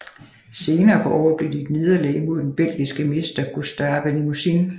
Senere på året blev det til et nederlag mod den belgiske mester Gustave Limousin